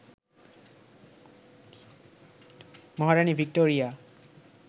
Maharani Victoria